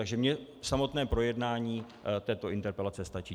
Takže mně samotné projednání této interpelace stačí.